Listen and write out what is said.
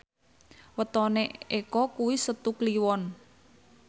wetone Eko kuwi Setu Kliwon